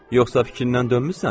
"Yoxsa fikrindən dönmüsən?"